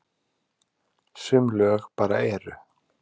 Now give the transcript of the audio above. Sum lög bara eru.